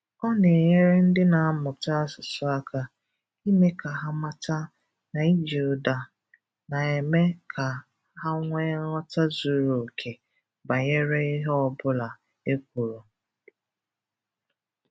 Ọ na-enyere ndị na-amụta asụsụ aka, ịme ka ha mata na iji ụdá na-eme ka ha nwéé nghọta zụrụ oké banyere ihe ọbụla ekwuru.